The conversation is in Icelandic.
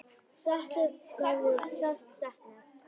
Settu verður sárt saknað.